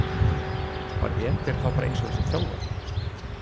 Var Eder þá bara eins og þessi þjálfari?